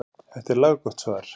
Þetta er laggott svar.